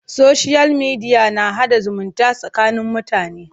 Soshiyal mediya na haɗa zumunta tsakanin mutane.